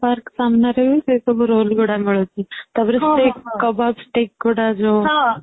park ସାମ୍ନା ରେ ବି ସେ ସବୁ roll ଗୁଡା ମିଳୁଛି ତାପରେ kebab sticks ଗୁଡା ଯୋଉ